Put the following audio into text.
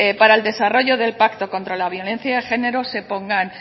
para el desarrollo del pacto contra la violencia de género se pongan